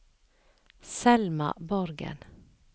Selma Borgen